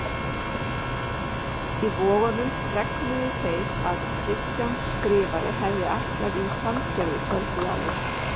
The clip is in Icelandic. Í Vogunum fregnuðu þeir að Kristján Skrifari hefði ætlað í Sandgerði kvöldið áður.